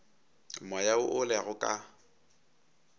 moya wo o lego ka